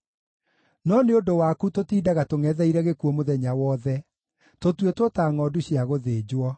No nĩ ũndũ waku tũtindaga tũngʼetheire gĩkuũ mũthenya wothe; tũtuĩtwo ta ngʼondu cia gũthĩnjwo.